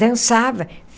Dançava.